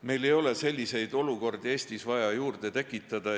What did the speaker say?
Meil ei ole selliseid olukordi Eestis vaja juurde tekitada.